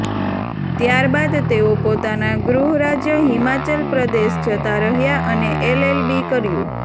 ત્યારબાદ તેઓ પોતાના ગૃહરાજ્ય હિમાચલ પ્રદેશ જતા રહ્યા અને એલએલબી કર્યું